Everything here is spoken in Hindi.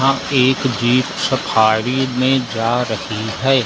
आप एक जीप सफारी में जा रही है।